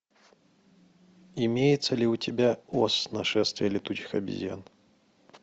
имеется ли у тебя оз нашествие летучих обезьян